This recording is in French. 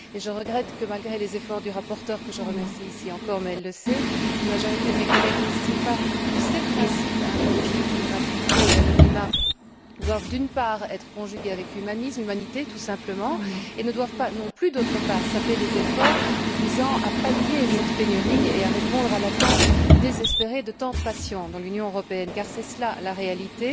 Je regrette que, malgré les efforts de la rapporteure, que je remercie ici encore mais elle le sait une majorité de mes collègues n'estime pas que ces principes intangibles de gratuité et d'anonymat doivent, d'une part, être conjugués avec humanisme et humanité, tout simplement, et ne doivent pas non plus, d'autre part, saper les efforts visant à pallier cette pénurie et à répondre à l'attente désespérée de tant de patients dans l'Union européenne, car c'est cela la réalité,